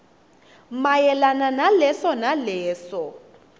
mayelana naleso naleso